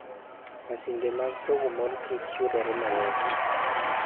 Masinde mag pogo mor kich yudore mayot.